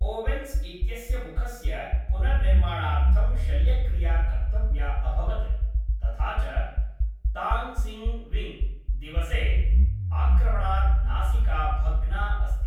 Owens इत्यस्य मुखस्य पुनर्निर्माणार्थं शल्यक्रिया कर्तव्या अभवत्, तथा च ताङ्क्स्गिविङ्ग् दिवसे आक्रमणात् नासिका भग्ना अस्ति।